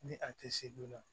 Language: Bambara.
Ni a tɛ se joona